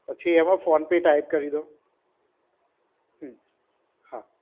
પછી એમાં PhonePe type કરી દો. હમ્મ. હા.